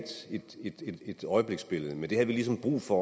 øjebliksbillede men det havde vi ligesom brug for